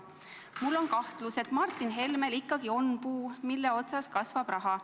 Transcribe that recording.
Mul on kahtlus, et Martin Helmel ikkagi on puu, mille otsas kasvab raha.